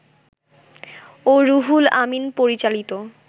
ও রুহুল আমিন পরিচালিত